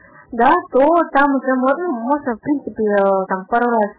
накрутка лайков